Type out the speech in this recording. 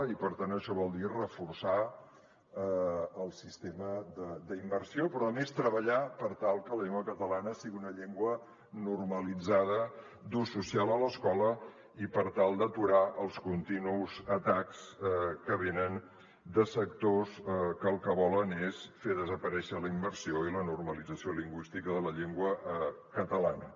i per tant això vol dir reforçar el sistema d’immersió però a més treballar per tal que la llengua catalana sigui una llengua normalitzada d’ús social a l’escola i per tal d’aturar els continus atacs que venen de sectors que el que volen és fer desaparèixer la immersió i la normalització lingüística de la llengua catalana